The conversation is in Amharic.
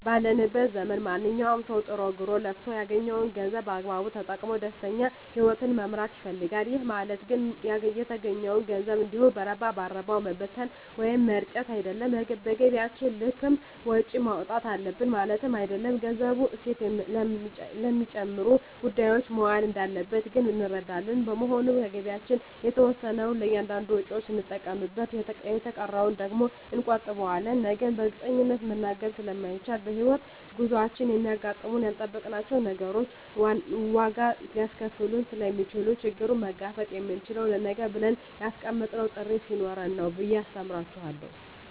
ባለንበት ዘመን ማንኛዉም ሰዉ ጥሮ ግሮእና ለፍቶ ያገኘዉን ገንዘብ በአግባቡ ተጠቅሞ ደስተኛ ህይወትን መምራት ይፈልጋል ይህ ማለት ግን የተገኘዉን ገንዘብ እንዲሁ በረባ ባረባዉ መበተን ወይም መርጨት አይደለም በገቢያችን ልክም ወጪ ማዉጣት አለብን ማለትም አይደለም ገንዘቡ እሴት ለሚጨምሩ ጉዳዮች መዋል እንዳለበት ግን እንረዳለን በመሆኑም ከገቢያችን የተወሰነዉን ለእያንዳንድ ወጪዎች ስንጠቀምበት የተቀረዉን ደግሞ እንቆጥበዋለን ነገን በእርግጠኝነት መናገር ስለማይቻልም በሕይወት ጉዟችን የሚያጋጥሙን ያልጠበቅናቸዉ ነገሮች ዋጋ ሊያስከፍሉን ስለሚችሉ ችግሩን መጋፈጥ የምንችለዉ ለነገ ብለን ያስቀመጥነዉ ጥሪት ስኖረን ነዉ ብየ አስተምራቸዋለሁ